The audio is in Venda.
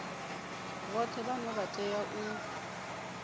vhoṱhe vhane vha tea u